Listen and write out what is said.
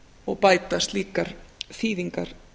og bæta slíkar þýðingar